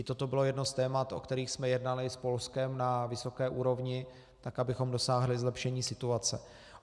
I toto bylo jedno z témat, o kterých jsme jednali s Polskem na vysoké úrovni, tak abychom dosáhli zlepšení situace.